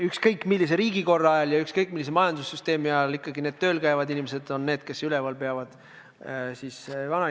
Ükskõik millise riigikorra ajal ja ükskõik millise majandussüsteemi ajal on ikkagi tööl käivad inimesed need, kes vanainimesi üleval peavad.